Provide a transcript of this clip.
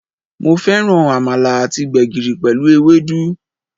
Mo féràn Àmàlà àti gbègìrì pèlú ewédú